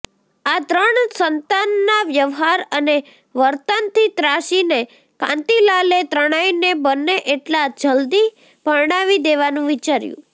આ ત્રણ સંતાનનાં વ્યવહાર અને વર્તનથી ત્રાસીને કાંતિલાલે ત્રણેયને બને એટલા જલદી પરણાવી દેવાનું વિચાર્યું